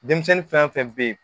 Denmisɛnnin fɛn fɛn bɛ yen